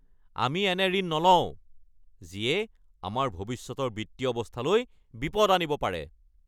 আমি এনে ঋণ নলওঁ যিয়ে আমাৰ ভৱিষ্যতৰ বিত্তীয় অৱস্থালৈ বিপদ আনিব পাৰে!